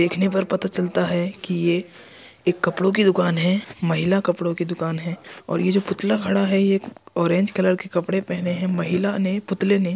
देखने पर पता चलता है कि ये एक कपड़ों की दुकान है महिला कपड़ों की दुकान है और ये जो पुतला खड़ा है ये एक ऑरेंज कलर के कपड़े पहने हैं महिला ने पुतले ने।